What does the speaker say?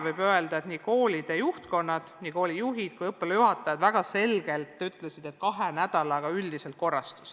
Koolide juhtkonnad, nii koolijuhid kui ka õppealajuhatajad, ütlesid väga selgelt, et kahe nädalaga õppetöö üldjoontes korrastus.